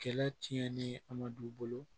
Kɛlɛ tiɲɛnen a ma du bolo